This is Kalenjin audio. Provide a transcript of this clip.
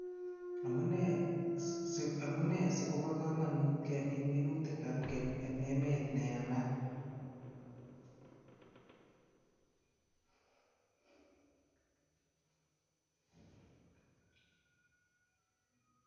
Amunee asikobo kamanut kemin minutikab keny eng emet neyamaat?